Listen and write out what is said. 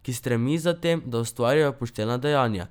Ki stremi za tem, da ustvarja poštena dejanja.